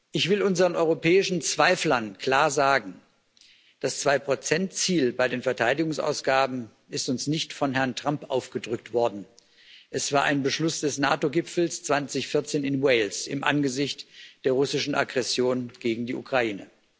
Ich will unseren europäischen Zweiflern klar sagen Das Zwei Prozent Ziel bei den Verteidigungsausgaben ist uns nicht von Herrn Trump aufgedrückt worden, es war ein Beschluss des NATO Gipfels 2014 in Wales im Angesicht der russischen Aggression gegen die Ukraine.